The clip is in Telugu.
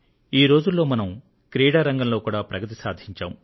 ఈ రోజుల్లో మనం క్రీడా రంగంలో కూడా ప్రగతిని సాధించాం